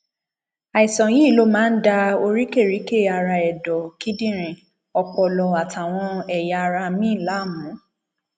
àìsàn yìí ló máa ń da oríkèríkè ara ẹdọ kíndìnrín ọpọlọ àtàwọn ẹyà ara míín láàmú